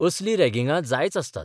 असली रॅगिंगां जायच आसतात.